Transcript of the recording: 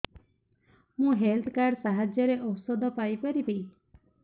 ମୁଁ health card ସାହାଯ୍ୟରେ ଔଷଧ ପାଇ ପାରିବି